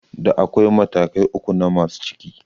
Da akwai matakai uku na masu ciki